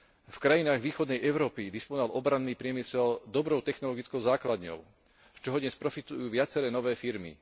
V krajinách východnej Európy disponoval obranný priemysel dobrou technologickou základňou, z čoho dnes profitujú viaceré nové firmy.